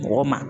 Mɔgɔ ma